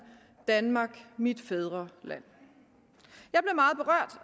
danmark mit fædreland